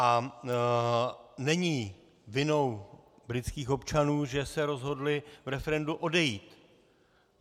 A není vinou britských občanů, že se rozhodli v referendu odejít.